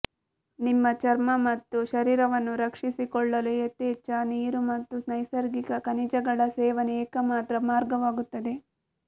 ನಿಮ್ಮ ಚರ್ಮ ಮತ್ತು ಶರೀರವನ್ನು ರಕ್ಷಿಸಿಕೊಳ್ಳಲು ಯಥೇಚ್ಛ ನೀರು ಮತ್ತು ನೈಸರ್ಗಿಕ ಖನಿಜಗಳ ಸೇವನೆ ಏಕಮಾತ್ರ ಮಾರ್ಗವಾಗುತ್ತದೆ